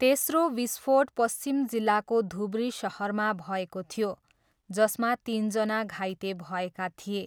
तेस्रो विस्फोट पश्चिम जिल्लाको धुब्री सहरमा भएको थियो, जसमा तिनजना घाइते भएका थिए।